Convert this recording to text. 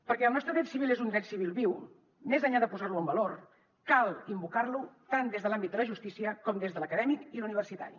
perquè el nostre dret civil és un dret civil viu més enllà de posar lo en valor cal invocar lo tant des de l’àmbit de la justícia com des de l’acadèmic i l’universitari